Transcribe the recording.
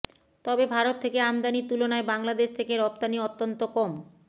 তবে ভারত থেকে আমদানীর তুলনায় বাংলাদেশ থেকে রপ্তানী অত্যন্ত কম